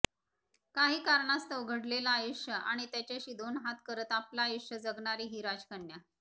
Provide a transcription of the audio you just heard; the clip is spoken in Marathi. काही कारणास्तव अवघडलेलं आयुष्य आणि त्याच्याशी दोन हात करत आपलं आयुष्य जगणारी ही राजकन्या